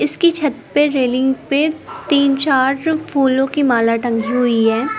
इसकी छत पे रेलिंग पे तीन चार फूलों की माला टंगी हुई है।